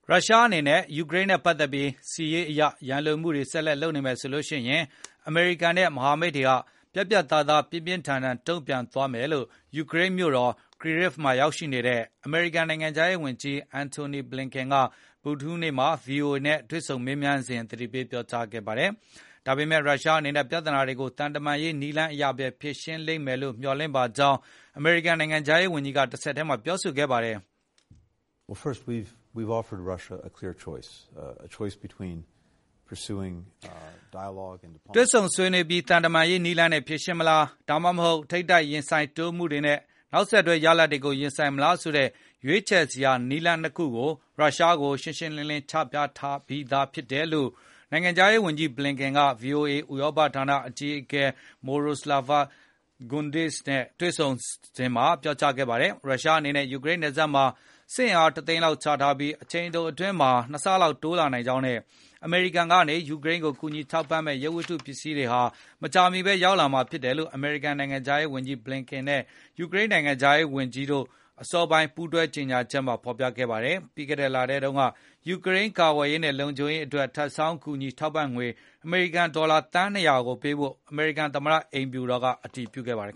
ရုရှားအနေနဲ့ ယူကရိန်းနဲ့ပတ်သက်ပြီး စစ်ရေးအရရန်လိုမှုတွေ ဆက်လက်လုပ်နေမယ်ဆိုရင်၊ အမေရိကန်နဲ့ မဟာမိတ်တွေဟာ ပြတ်ပြတ်သားသားနဲ့ ပြင်းပြင်းထန်ထန်တုံပြန်သွားမယ်လို့ ယူကရိန်းနိုင်ငံမြို့တော် Kyiv ရောက်ရှိနေတဲ့အမေရိကန် နိုင်ငံခြားရေးဝန်ကြီး Antony Blinken က ဗုဒ္ဓဟူးနေ့က VOA နဲ့ တွေ့ဆုံမေးမြန်းစဉ် သတိပေးပြောကြားခဲ့ပါတယ်။ ဒါပေမယ့် ရုရှားအနေနဲ့ ပြဿနာတွေကို သံတမန်ရေးနည်းလမ်းအရဘဲ ဖြေရှင်းလိမ့်မယ်လို့ မျှော်လင့်ပါကြောင်း အမေရိကန်နိုင်ငံခြားရေးဝန်ကြီး Blinken ကတဆက်တည်းပြောဆိုခဲ့ပါတယ်။ တွေ့ဆုံဆွေးနွေးပြီး သံတမန်ရေးနည်းလမ်းနဲ့ ဖြေရှင်းမလား ဒါမှမဟုတ် ထိပ်တိုက်ရင်ဆိုင်တိုးမှုတွေနဲ့ နောက်ဆက်တွဲရလဒ်တွေ ကိုရင်ဆိုင်မလားဆိုတဲ့ရွေးချယ်စရာ နည်းလမ်း ၂ ခုကို ရုရှားကို ရှင်းရှင်းလင်းလင်းချပြထားပြီးသားလို့ နိုင်ငံခြားရေးဝန်ကြီး Blinken က VOA ရဲ့ဥရောပဌာနအကြီးအကဲ Myroslava Gongadze နဲ့တွေ့ဆုံ မေးမြန်းစဉ်ပြောဆိုခဲ့ပါတယ်။ ရုရှားအနေနဲ့ယူရိန်းနယ်စပ်မှာစစ်အင်အားတသိန်းလောက်ချထားပြီး၊ အချိန်တိုအတွင်း မှာ ၂ ဆလောက်တိုးလာနိုင်ကြောင်းနဲ့။ အမေရိကန်ကနေ ယူကရိန်းကို ကူညီထောက်ပံမယ့် ရုပ်ဝတ္တုပစ္စည်းတွေဟာ မကြာမီရောက်ရှိလာမှာဖြစ်တယ်လို့ အမေရိကန် နိုင်ငံခြားရေးဝန်ကြီး Blinken နဲ့ ယူကရိန်းနိုင်ငံခြားရေးဝန်ကြီး Dmytro Kuleba နဲ့ အစောပိုင်းက ပူးတွဲထုတ်ပြန်တဲ့ ကြေညာချက်ထဲမှာဖေါ်ပြထားပါတယ်။ ပြီးခဲ့တဲ့လထဲတုန်းက ယူကရိန်းကာကွယ်ရေးနဲ့ လုံခြုံရေးအတွက် ထပ်ဆောင်းကူညီထောက်ပံ့ငွေ အမေရိကန်ဒေါ်လာ သန်း ၂၀၀ ကိုပေးဖို့ အမေရိကန်သမတအိမ်ဖြူတော် ကအတည်ပြုခဲ့ပါတယ်